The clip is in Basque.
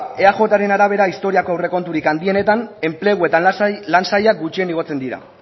bueno ba eajren arabera historiako aurrekonturik handienetan enplegu eta lan saila gutxien igotzen dira